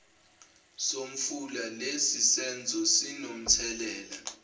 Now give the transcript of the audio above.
somfula lesisenzo sinomthelela